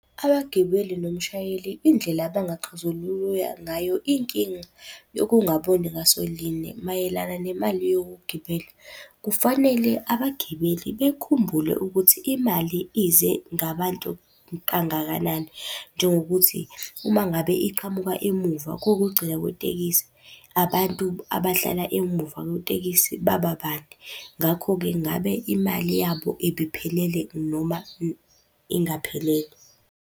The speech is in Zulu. Abagibeli nomshayeli indlela abangaxazulula ngayo inkinga yokungaboni ngaso linye mayelana nemali yokugibela, kufanele abagibeli bekhumbule ukuthi imali ize ngabantu kangakanani, njengokuthi uma ngabe iqhamuka emuva kokugcina kwetekisi, abantu abahlala emuva kwetekisi baba bade. Ngakho-ke ngabe imali yabo ibiphelele noma ingaphelele.